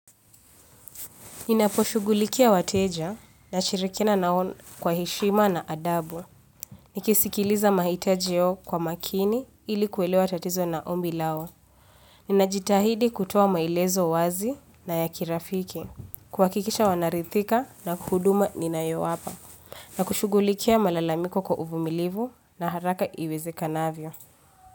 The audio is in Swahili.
Ninaposhugulikia wateja nashirikiana nao kwa heshima na adabwa. Nikisikiliza mahitaji yao kwa makini ili kuelewa tatizo na ombi lao. Ninajitahidi kutuoa maelezo wazi na ya kirafiki. Kuhakikisha wanarithika na huduma ninayowapa. Na kushugulikia malalamiko kwa uvumilivu na haraka iwezekanavyo.